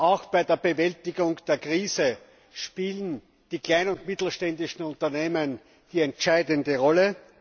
Auch bei der Bewältigung der Krise spielen die kleinen und mittelständischen Unternehmen die entscheidende Rolle.